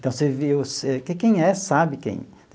Então, você vê você que quem é, sabe quem.